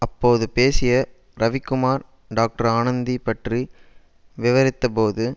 அப்போது பேசிய ரவிக்குமார் டாக்டர் ஆனந்தி பற்றி விவரித்தபோது